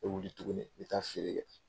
I bɛ wili tuguni i bɛ taa feere kɛ.